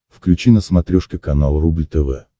включи на смотрешке канал рубль тв